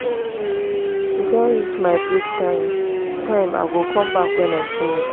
e don reach my break time time i go come back wen i finish